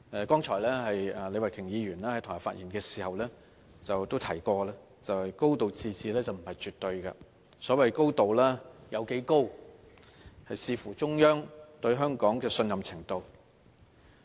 剛才李慧琼議員在台下發言時提及，"高度自治"並不是絕對的，所謂的"高度"有多高，視乎中央對香港的信任程度。